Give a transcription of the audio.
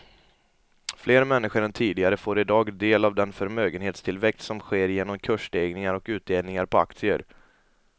Fler människor än tidigare får i dag del av den förmögenhetstillväxt som sker genom kursstegringar och utdelningar på aktier.